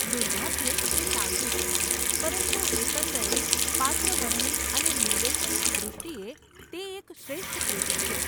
દુર્ભાગ્યે, તે સાચું છે, પરંતુ એકંદરે પાત્રવરણી અને નિર્દેશનની દૃષ્ટિએ , તે એક શ્રેષ્ઠ કૃતિ છે.